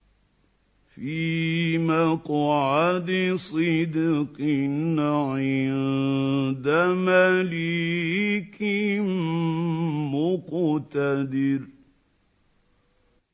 فِي مَقْعَدِ صِدْقٍ عِندَ مَلِيكٍ مُّقْتَدِرٍ